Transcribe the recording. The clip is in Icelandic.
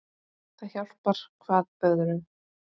Það hjálpar hvað öðru.